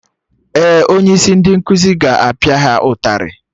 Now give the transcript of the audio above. Ee, onye isi ndị nkuzi ga-apia ha ụtarị